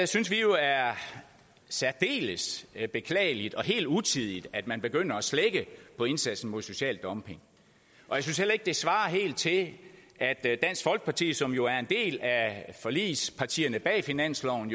synes vi jo er særdeles beklageligt og helt utidigt at man begynder at slække på indsatsen mod social dumping og jeg synes heller ikke det svarer helt til at at dansk folkeparti som jo er et af forligspartierne bag finansloven